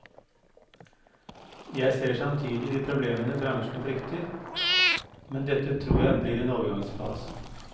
Jeg ser samtidig de problemene bransjen frykter, men dette tror jeg blir en overgangsfase.